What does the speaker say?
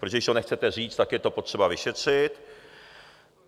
Protože když to nechcete říct, tak je to potřeba vyšetřit.